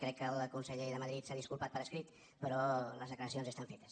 crec que el conseller de madrid s’ha disculpat per escrit però les declaracions ja estan fetes